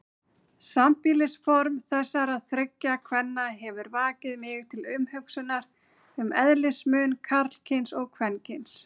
Sambýlisform þessara þriggja kvenna hefur vakið mig til umhugsunar um eðlismun karlkyns og kvenkyns.